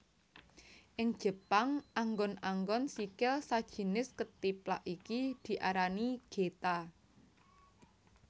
Ing Jepang anggon anggon sikil sajinis kethiplak iki diarani Geta